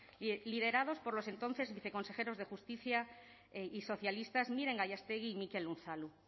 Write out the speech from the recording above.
liderados por los entonces viceconsejeros de justicia y socialistas miren gallástegui y mikel unzalu